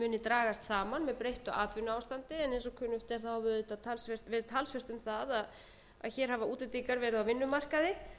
kynni að dragast saman en það er þó erfitt að átta sig á því því það er